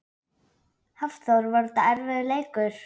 Hafþór: Var þetta erfiður leikur?